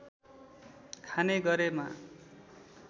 खाने गरेमा